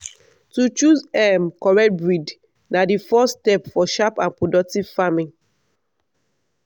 to choose um correct breed na the first step for sharp and productive farming.